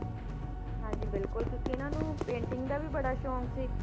ਹਾਂਜੀ ਬਿਲਕੁਲ ਕਿਉਂਕਿ ਇਹਨਾਂ ਨੂੰ painting ਦਾ ਵੀ ਬੜਾ ਸ਼ੌਂਕ ਸੀ।